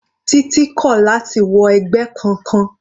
Titi kò láti wọ ẹgbẹ́ kankan.